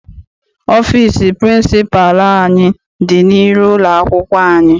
Ọfịịsi pịrịnsịpalụ anyị dị n'iru ụlọakwụkwọ anyị.